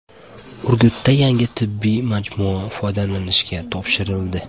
Urgutda yangi tibbiy majmua foydalanishga topshirildi.